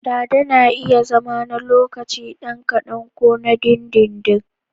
Dada na iya zama na ɗan lokaci kadan ko na dindindin.